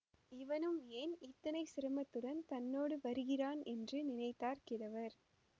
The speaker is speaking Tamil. இவனும் ஏன் இத்தனை சிரமத்துடன் தன்னோடு வருகிறான் என்று நினைத்தார் கிழவர்